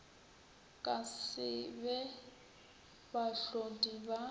ka se be bahlodi ba